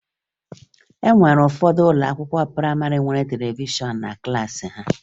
E nwere ụfọdụ ụlọakwụkwọ prayịmarị nwere televishọn na klaasị ha